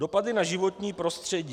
Dopady na životní prostředí.